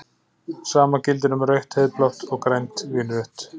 Sama gildir um rautt-heiðblátt og grænt-vínrautt.